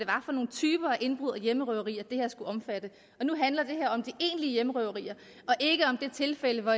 indbrud og hjemmerøverier som det her skal omfatte og hjemmerøverier og ikke om det tilfælde hvor